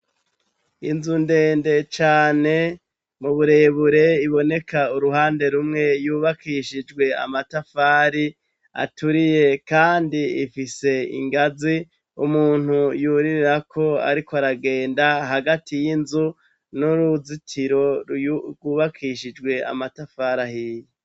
inzu ndende cane mu burebure iboneka uruhande rumwe yubakishijwe amatafari aturiye kandi ifise ingazi umuntu yurira ko ariko aragenda hagati y'inzu n'uruzitiro rwubakishijwe amatafari ahiye